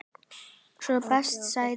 Sá besti segir hún.